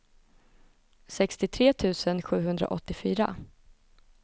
sextiotre tusen sjuhundraåttiofyra